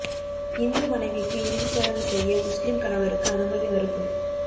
இந்து மனைவிக்கு இறுதி சடங்கு செய்ய முஸ்லீம் கணவருக்கு அனுமதி மறுப்பு